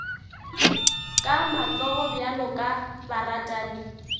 ka matsogo bjalo ka baratani